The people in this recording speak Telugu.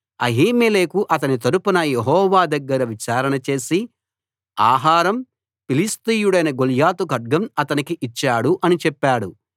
అహీమెలెకు అతని తరపున యెహోవా దగ్గర విచారణ చేసి ఆహారం ఫిలిష్తీయుడైన గొల్యాతు ఖడ్గం అతనికి ఇచ్చాడు అని చెప్పాడు